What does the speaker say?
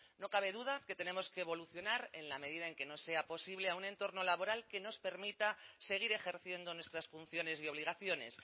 no cabe duda que tenemos que evolucionar en la medida en que nos sea posible a un entorno laboral que nos permita seguir ejerciendo nuestras funciones y obligaciones